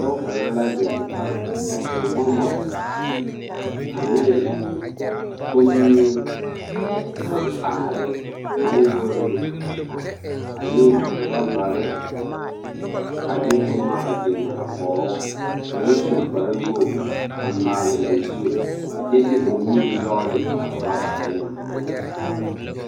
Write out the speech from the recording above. Pɔge kaŋa la zeŋ ka tewɔmɔ ane kommie aŋkaare maŋgore ane ɔrɔɔbare ane boma a biŋ a kɔge o ka o su kparewogi a maale o zu a kyɛ de o nuure nyɔge ne a ɔrɔɔbare na.